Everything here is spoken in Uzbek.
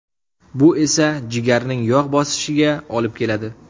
Bu esa jigarning yog‘ bosishiga olib keladi.